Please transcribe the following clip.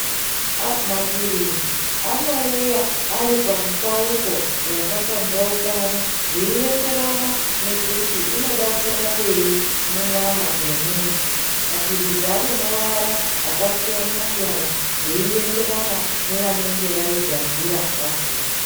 Maphirizi anouya aripamupauko yakapambaukana zveienderana nekuti inoda kurapei munyama dzemuntu. Maphirizi anemavara akasiyana-siyana zveienderana nevanenge vaigadzira vakona.